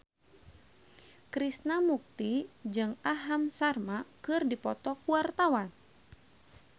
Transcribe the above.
Krishna Mukti jeung Aham Sharma keur dipoto ku wartawan